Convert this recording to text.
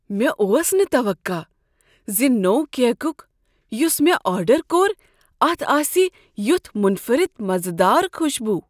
مےٚ اوس نہٕ توقع زِ نوٚو کیک یُس مےٚ آرڈر کوٚر اتھ آسِہ یتھ منفرد مزٕ دار خوشبو۔